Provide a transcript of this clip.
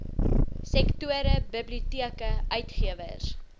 sektore biblioteke uitgewers